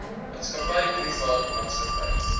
maatskappy privaat maatskappy